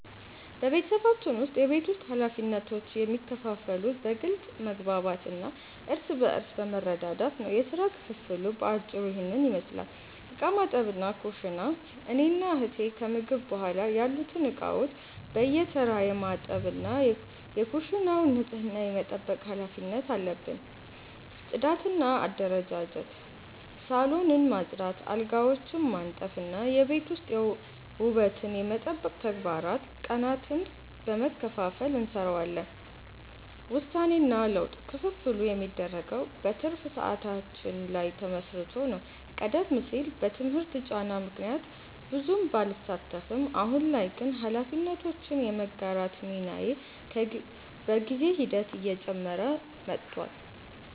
በቤተሰባችን ውስጥ የቤት ውስጥ ኃላፊነቶች የሚከፋፈሉት በግልጽ መግባባት እና እርስ በርስ በመረዳዳት ነው። የሥራ ክፍፍሉ በአጭሩ ይህንን ይመስላል፦ ዕቃ ማጠብና ኩሽና፦ እኔና እህቴ ከምግብ በኋላ ያሉትን ዕቃዎች በየተራ የማጠብ እና የኩሽናውን ንጽህና የመጠበቅ ኃላፊነት አለብን። ጽዳትና አደረጃጀት፦ ሳሎንን ማጽዳት፣ አልጋዎችን ማንጠፍ እና የቤት ውስጥ ውበትን የመጠበቅ ተግባራትን ቀናትን በመከፋፈል እንሰራዋለን። ውሳኔና ለውጥ፦ ክፍፍሉ የሚደረገው በትርፍ ሰዓታችን ላይ ተመስርቶ ነው። ቀደም ሲል በትምህርት ጫና ምክንያት ብዙም ባልሳተፍም፣ አሁን ላይ ግን ኃላፊነቶችን የመጋራት ሚናዬ በጊዜ ሂደት እየጨመረ መጥቷል።